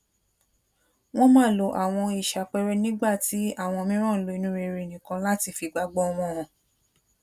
wón máa lo àwọn ohun ìṣàpẹẹrẹ nígbà tí àwọn mìíràn ń lo inú rere nìkan láti fi ìgbàgbọ wọn hàn